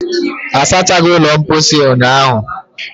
a sachaghi ulo mposi a unyahụ